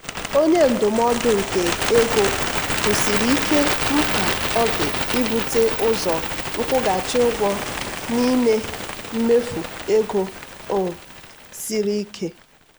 onye ndụmọdụ nke ego kwusiri ike mkpa ọ dị ibute ụzọ nkwụghachi ụgwọ n'ime mmefu ego um siri ike.